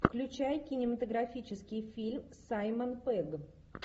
включай кинематографический фильм саймон пегг